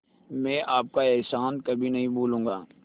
मैं आपका एहसान कभी नहीं भूलूंगा